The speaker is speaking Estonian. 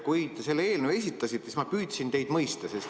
Kui te selle eelnõu esitasite, siis ma püüdsin teid mõista.